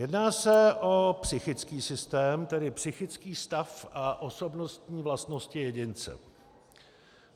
Jedná se o psychický systém, tedy psychický stav a osobnostní vlastnosti jedince.